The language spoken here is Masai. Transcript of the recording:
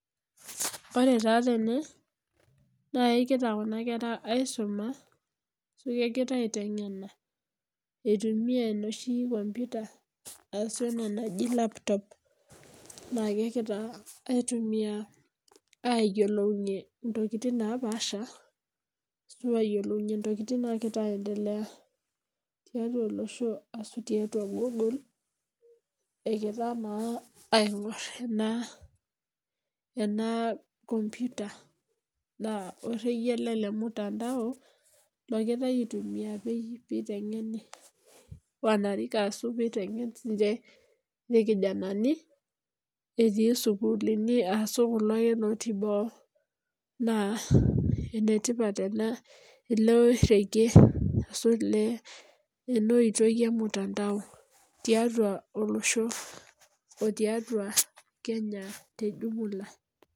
Ore taa tene naa nkera naa kegira kuna kera aisuma neeku egira aiteng'ena itumiaa enoshi computer ashu laptop naakegira aitumiaa aayiolounyie ntokitin naapaasha aayiolounyie ntokitin naapaasha tiatua olosho egira naa aingorr ena com